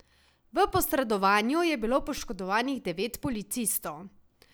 V posredovanju je bilo poškodovanih devet policistov.